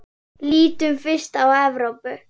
Lítum fyrst á Evrópu.